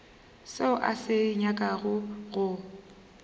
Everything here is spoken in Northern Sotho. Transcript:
seo a se nyakago go